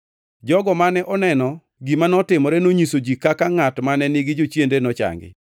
Jogo mane oneno gima notimore nonyiso ji kaka ngʼat mane nigi jochiende nochangi